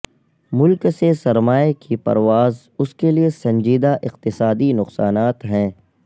ملک سے سرمائے کی پرواز اس کے لئے سنجیدہ اقتصادی نقصانات ہیں